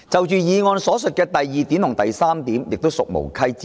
議案所述的第二及三點亦屬無稽之談。